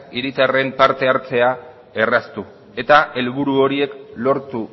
herritarren parte hartzea erraztu eta helburu horiek lortu